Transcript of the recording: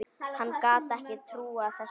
Hann gat ekki trúað þessu.